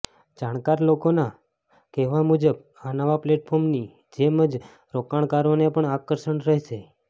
જાણકાર લોકોના કહેવા મુજબ આ નવા પ્લેટફોર્મની જેમ જ રોકાણકારોને પણ આકર્ષણ રહેશે